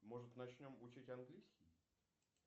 может начнем учить английский